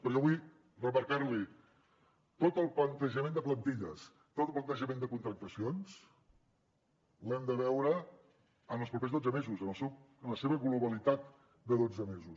però jo vull remarcarl’hi tot el plantejament de plantilles tot el plantejament de contractacions l’hem de veure en els propers dotze mesos en la seva globalitat de dotze mesos